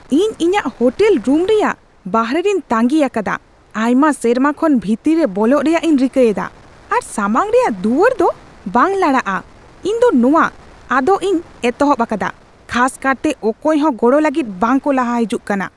ᱤᱧ ᱤᱧᱟᱹᱜ hotel room ᱨᱮᱭᱟᱜ ᱵᱟᱦᱨᱮ ᱨᱮᱧ ᱛᱟᱺᱜᱤ ᱟᱠᱟᱫᱟ ᱟᱭᱢᱟ ᱥᱮᱨᱢᱟ ᱠᱷᱚᱱ ᱵᱷᱤᱛᱤᱨ ᱨᱮ ᱵᱚᱞᱚᱜ ᱨᱮᱭᱟᱜ ᱤᱧ ᱨᱤᱠᱟᱹ ᱮᱫᱟ, ᱟᱨ ᱥᱟᱢᱟᱝ ᱨᱮᱭᱟᱜ ᱫᱩᱣᱟᱹᱨ ᱫᱚ ᱵᱟᱝ ᱞᱟᱲᱟᱜᱼᱟ !ᱤᱧ ᱫᱚ ᱱᱚᱶᱟ ᱟᱫ ᱤᱧ ᱮᱛᱚᱦᱚᱵ ᱟᱠᱟᱫᱟ, ᱠᱷᱟᱥ ᱠᱟᱨᱛᱮ ᱚᱠᱚᱭ ᱦᱚᱸ ᱜᱚᱲᱚ ᱞᱟᱹᱜᱤᱫ ᱵᱟᱝᱠᱚ ᱞᱟᱦᱟ ᱦᱤᱡᱩᱜ ᱠᱟᱱᱟ ᱾